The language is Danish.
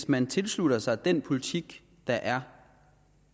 man tilslutter sig den politik der er